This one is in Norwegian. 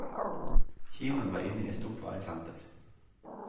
Kinoen var inne i et stort varesenter.